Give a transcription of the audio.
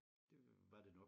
Det var det nok